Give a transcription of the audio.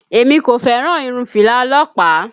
Èmi kò fẹ́ràn irun fìlà ọlọ́pàá